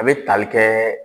A be tali kɛ